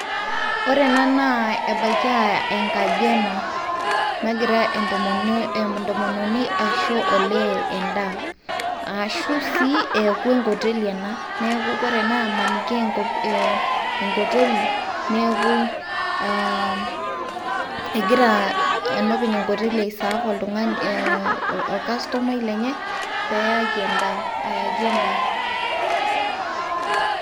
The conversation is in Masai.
Ore ena naa ebaiki a enkaji ena, nagira entomononi entomononi aisho olee endaa arashu sii eeku enkoteli ena neeku kore ena amaniki ee ee enkoteli neeku aa egira enopeny enkoteli aiserve oltung'ani orkastomai lenye peyaki endaa.